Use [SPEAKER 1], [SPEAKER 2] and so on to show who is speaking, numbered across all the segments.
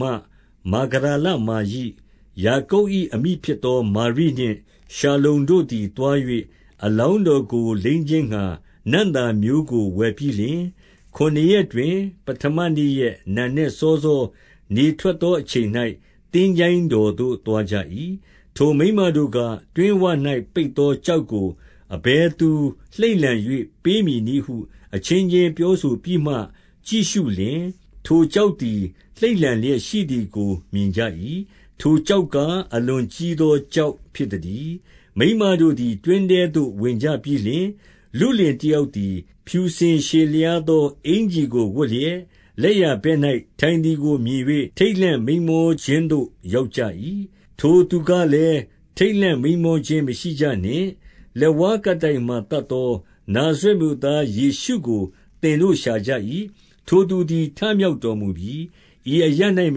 [SPEAKER 1] မှ မာဂဒလမာရိ၊ ယာကုပ်၏အမိဖြစ်သော မာရိနှင့် ရှာလုံတို့သည်သွား၍၊ အလောင်း တော်ကို လိမ်းခြင်းငှါ နံ့သာမျိုးကိုဝယ်ပြီးလျှင်၊ 2 ခုနစ်ရက်တွင် ပဌမနေ့ရက်နံနက်စောစော၊ နေထွက်သောအချိန်၌ သင်္ချိုင်းတော်သို့သွားကြ၏။ 3 ထိုမိန်းမတို့က၊ တွင်းဝ၌ ပိတ်သောကျောက်ကို အဘယ်သူလှိမ့်လှန်၍ ပေးမည်နည်းဟု အချင်းချင်း ပြောဆိုပြီးမှ ကြည့်ရှုလျှင်၊ ထိုကျောက်သည် လှိမ့်လှန်လျက်ရှိသည်ကို မြင်ကြ၏။ 4 ထိုကျောက်ကားအလွန်ကြီးသောကျောက် ဖြစ်သတည်း။ 5 မိန်းမတို့သည် တွင်းထဲသို့ဝင်ကြပြီးလျှင်၊ လုလင်တယောက်သည် ဖြူစင်ရှည်လျားသောအင်္ကျီကို ဝတ် လျက်လက်ျာဘက်၌ ထိုင်သည်ကိုမြင်၍ ထိတ်လန့် မိန်းမောခြင်းသို့ ရောက်ကြ၏။ 6 ထိုသူကလည်း၊ ထိတ်လန့်မိန်းမောခြင်းမရှိကြနှင့်။ လက်ဝါးကပ်တိုင်မှာ သတ်သောနာဇရက်မြို့သား ယေရှုကို သင်တို့ရှာကြ၏။ ထိုသူသည် ထမြောက်တော်မူပြီ။ ဤအရပ်၌မ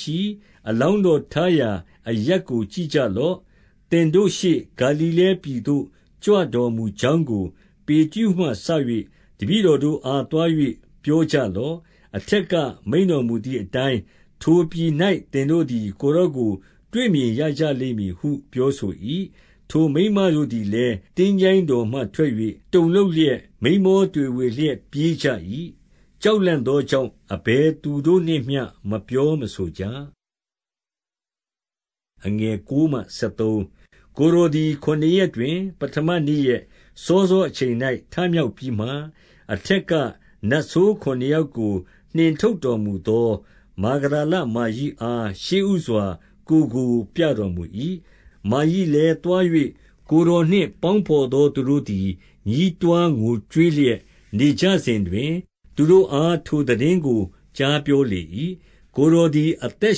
[SPEAKER 1] ရှိ။ အလောင်းတော် ထားရာအရပ် ကိုကြည့်ကြလော့။ 7 သင်တို့ရှေ့ဂါလိလဲပြည်သို့ ကြွတော်မူကြောင်းကို၊ ပေတရုမှစ၍ တပည့်တော်တို့အား သွား၍ပြောကြ လော့။ အထက်ကမိန့်တော်မူသည်အတိုင်း၊ ထိုပြည်၌ သင်တို့သည် ကိုယ်တော်ကိုတွေ့မြင်ရကြလိမ့်မည်ဟု ပြော ဆို၏။ 8 ထိုမိန်းမတို့သည်လည်း၊ သင်္ချိုင်းတော်မှထွက်၍ တုန်လှုပ်လျက်၊ မိန်းမောတွေဝေလျက် ပြေးကြ၏၊ ကြောက်လန့်သောကြောင့် အဘယ်သူကိုမျှ မပြောမဆိုကြ။ 9 ကိုယ်တော်သည် ခုနစ်ရက်တွင် ပဌမနေ့ရက် စောစောအချိန်၌ထမြောက်ပြီးမှ၊ အထက်က နတ်ဆိုး ခုနစ်ယောက်ကို နှင်ထုတ်တော်မူသော မာဂဒလမာရိအား ရှေ့ဦးစွာကိုယ်ကိုပြတော်မူ၏။ 10 မာရိလည်းသွား၍ ကိုယ်တော်နှင့် ပေါင်းဘော်သောသူတို့သည် ညည်းတွားငိုကြွေးလျက် နေကြစဉ် တွင်၊ သူတို့အားထိုသိတင်းကို ကြားပြောလေ၏။ 11 ကိုယ်တော်သည် အသက်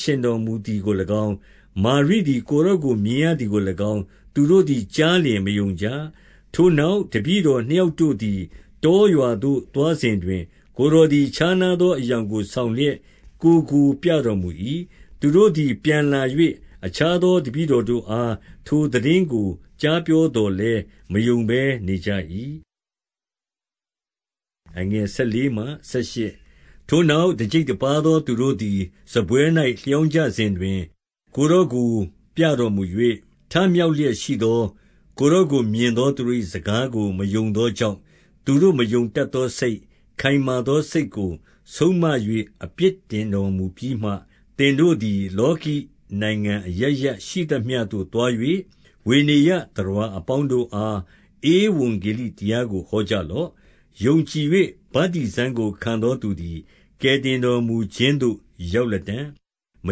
[SPEAKER 1] ရှင်တော်မူသည်ကို၎င်း၊ မာရိသည် ကိုယ်တော်ကိုမြင်ရသည်ကို၎င်း၊ သူတို့ သည်ကြားလျှင် မယုံကြ။ 12 ထိုနောက် တပည့်တော်နှစ်ယောက်တို့သည် တောရွာသို့သွားစဉ်တွင် ကိုယ်တော်သည်ခြားနားသော အရောင်ကိုဆောင်လျက် ကိုယ်ကိုပြတော်မူ၏။ 13 သူတို့သည်ပြန်လာ၍ အခြားသောတပည့်တော်တို့အား ထိုသိတင်းကို ကြားပြောသော်လည်း မယုံဘဲ နေကြ၏။ 14 ထိုနောက် တကျိပ်တပါးသောသူတို့သည် စားပွဲ၌ လျောင်းကြစဉ်တွင် ကိုယ်တော်ကိုပြတော်မူ၍၊ ထ မြောက်လျက်ရှိသော ကိုယ်တော်ကိုမြက်သောသူတို့၏ စကားကိုမယုံသောကြောင့် သူတို့မယုံတတ်သောစိတ်၊ ခိုင်မာသောစိတ်ကို ဆုံးမ၍ အပြစ်တင်တော်မူပြီးမှ၊ 15 သင်တို့သည် လောကီနိုင်ငံအရပ်ရပ် ရှိသမျှသို့သွား၍၊ ဝေနေယျသတ္တဝါအပေါင်းတို့အား ဗဝံဂေလိတ ရာကို ဟောကြလော့။ 16 ယုံကြည်၍ ဗတ္တိဇံကိုခံသောသူသည် ကယ်တင်တော်မူခြင်းသို့ ရောက်လတံ့။ မ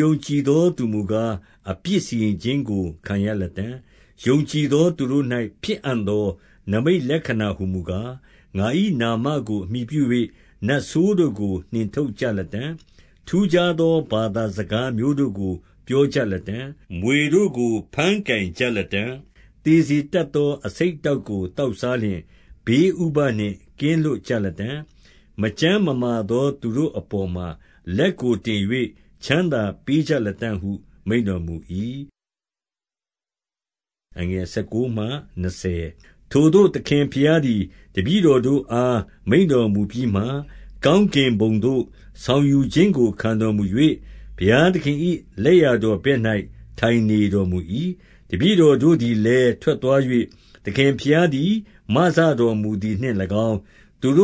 [SPEAKER 1] ယုံကြည်သောသူမူကား အပြစ်စီရင်ခြင်းကို ခံရလတံ့။ 17 ယုံကြည်သောသူတို့၌ ဖြစ်အံ့သော နိမိတ်လက္ခဏာဟူမူကား၊ ငါ၏နာမကို အမှီပြု၍ နတ်ဆိုးတို့ကို နှင်ထုတ်ကြလတံ့။ ထူးခြားသောဘာသာစကားမျိုးတို့ကို ပြောကြလတံ့။ 18 မြွေတို့ကို ဘမ်းကိုင်ကြလတံ့။ သေစေတတ်သော အဆိပ်အတောက်ကို သောက်စားလျှင် ဘေးဥပဒ် နှင့် ကင်းလွတ်ကြလတံ့။ မကျန်းမမာသောသူတို့အပေါ်မှာ လက်ကိုတင်၍ ချမ်းသာပေးကြလတံ့ဟု မိန့်တော်မူ ၏။ 19 ထိုသို့သခင်ဘုရားသည် တပည့်တော်တို့အား မိန့်တော်မူပြီးမှ၊ ကောင်းကင်ဘုံသို့ ဆောင်ယူခြင်းကို ခံတော်မူ၍၊ ဘုရားသခင်၏ လက်ျာတော်ဘက်၌ ထိုင်နေတော်မူ၏။ 20 တပည့်တော်တို့သည်လည်း ထွက်သွား၍၊ သခင်ဘုရားသည် မစတော်မူသည်နှင့်၎င်း၊ ခပ်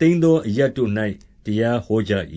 [SPEAKER 1] သိမ်းသော အရပ်တို့၌ တရားဟောကြ၏